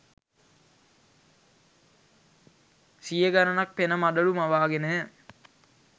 සිය ගණනක් පෙන මඩලු මවාගෙනය.